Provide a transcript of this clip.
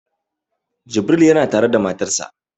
Jibril yana tare da matarsa